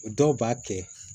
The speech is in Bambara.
Dɔw b'a kɛ